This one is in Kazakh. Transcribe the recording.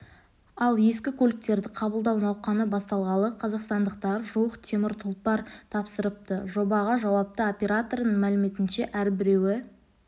ал ескі көліктерді қабылдау науқаны басталғалы қазақстандықтар жуық темір тұлпар тапсырыпты жобаға жауапты оператордың мәліметінше әрбіреуі